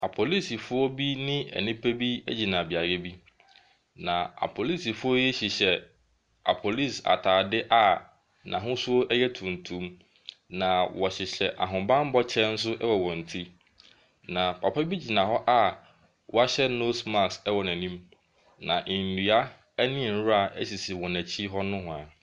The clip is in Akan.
Apolisifoɔ bi ne enipa bi egyina beaeɛ bi na apolisifoɔ yi hyehyɛ apolisi ataade a n'ahosuo ɛyɛ tuntum na ɔhyehyɛ ahobanbɔ kyɛ nso wɔ wɔn ti. Na papa bi gyina hɔ a wahyɛ nose mask ɛwɔ n'anim na nnua ɛne nwura esisi wɔn ɛkyi hɔ nowhaa.